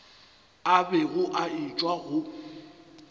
a bego a etšwa go